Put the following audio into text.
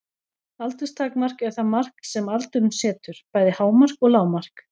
Aldurstakmark er það mark sem aldurinn setur, bæði hámark og lágmark.